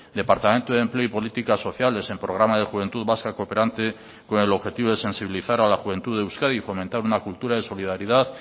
departamento de empleo y políticas sociales en programa de juventud vasca cooperante con el objetivo de sensibilizar a la juventud de euskadi y fomentar una cultura de solidaridad